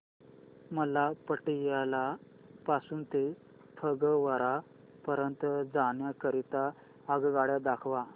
मला पटियाला पासून ते फगवारा पर्यंत जाण्या करीता आगगाड्या दाखवा